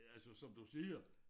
Altså som du siger